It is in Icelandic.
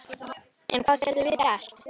En hvað getum við gert?